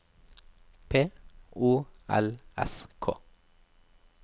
P O L S K